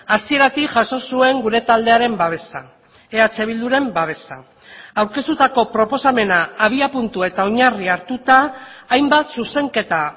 hasieratik jaso zuen gure taldearen babesa eh bilduren babesa aurkeztutako proposamena abiapuntu eta oinarri hartuta hainbat zuzenketa